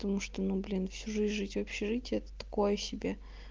потому что ну блин всю жизнь жить в общежитии это такое себе